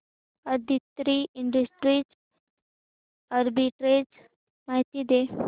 Aditri industries arbitrage माहिती दे